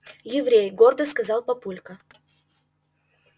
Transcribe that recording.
еврей гордо сказал папулька